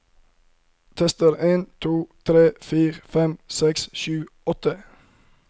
Tester en to tre fire fem seks sju åtte